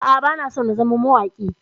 A'a, bana so in zama mawaƙi.